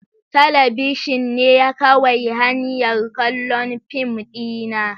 Talabishin ne kawai hanyar kallon fim dina.